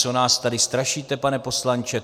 Co nás tady strašíte, pane poslanče?